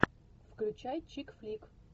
включай чик флик